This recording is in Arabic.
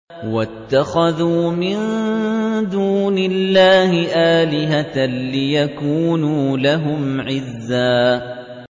وَاتَّخَذُوا مِن دُونِ اللَّهِ آلِهَةً لِّيَكُونُوا لَهُمْ عِزًّا